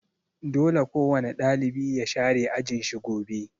Dole kowane ɗalibi ya share ajin shi gobe'!